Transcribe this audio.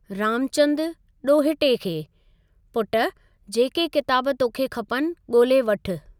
रामचंदु ( डो॒हिटे खे ): पुट जेके किताब तोखे खपनि गो॒ल्हे वठु।